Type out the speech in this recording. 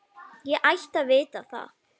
Ég ætti að vita það.